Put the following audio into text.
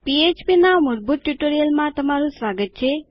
PHP ના મૂળભૂત ટયુટોરીયલમાં તમારું સ્વાગત છે